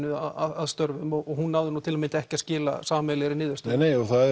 að störfum og hún náði nú til að mynda ekki að skila sameiginlegri niðurstöðu nei nei og það